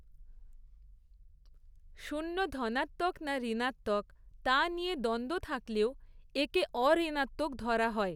শূন্য ধনাত্মক না ঋণাত্মক, তা নিয়ে দ্বন্দ্ব থাকলেও একে অঋণাত্মক ধরা হয়।